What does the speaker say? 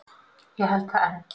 Ég held það enn.